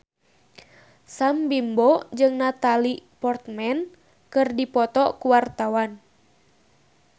Sam Bimbo jeung Natalie Portman keur dipoto ku wartawan